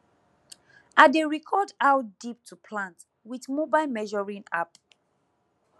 i dey record how deep to plant with mobile measuring app